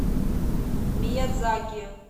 миядзаки